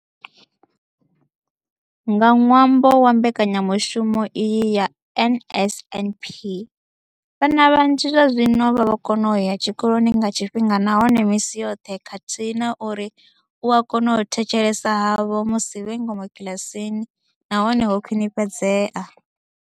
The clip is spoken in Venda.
Nga ṅwambo wa mbekanya mushumo iyi ya NSNP, vhana vhanzhi zwazwino vha vho kona u ya tshikoloni nga tshifhinga nahone misi yoṱhe khathihi na uri u kona u thetshelesa havho musi vhe ngomu kiḽasini na hone ho khwinifhadzea.